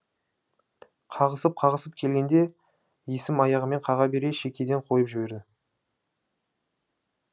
қағысып қағысып келгенде есім аяғымен қаға бере шекеден қойып жіберді